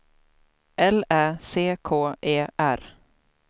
L Ä C K E R